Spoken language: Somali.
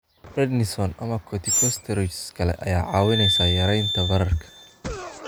Prednisone ama corticosteroids kale ayaa kaa caawinaysa yaraynta bararka.